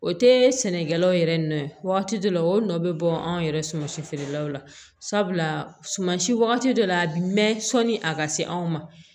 O tɛ sɛnɛkɛlaw yɛrɛ nɔ ye wagati dɔ la o nɔ bɛ bɔ anw yɛrɛ suman si feerelaw la sabula sumansi wagati dɔ la a bɛ mɛn sɔnni a ka se anw ma